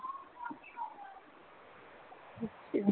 ਹਮ